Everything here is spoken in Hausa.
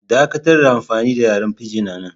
Dakatar da amfani da yaren Pidgin anan!